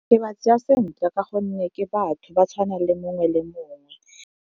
Ke ba tsaya sentle gonne ke batho ba tshwana le mongwe le mongwe.